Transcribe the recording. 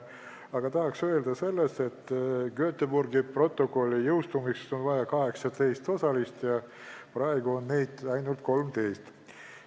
Aga tahan öelda seda, et Göteborgi protokolli jõustumiseks on vaja 18 osalist, praegu on neid ainult 13.